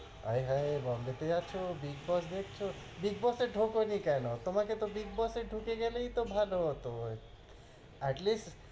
হায়, হায়, বোম্বেতে আছো বিগ বস দেখছো, বিগ বসে ঢোকেনি কেনো? তোমাকে তো বিগ বসে ঢুকে গেলেই তো ভালো হত হয় atleast,